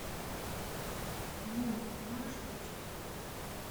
мул можешь включить